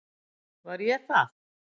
Var ég það?